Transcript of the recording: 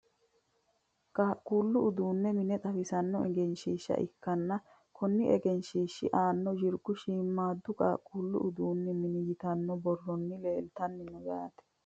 qaaquullu uduunni mine xawisanno egenshiishsha ikkanna konni egenshiishshi aana yirgu shiimmaaddu qaaqquullu uduunni mine yitanno borrono leeltanni no yaate .